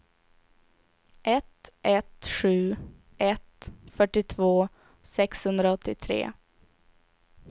ett ett sju ett fyrtiotvå sexhundraåttiotre